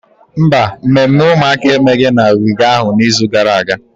Mba, mmemme ụmụaka emeghị na ogige ahụ n'izu gara aga.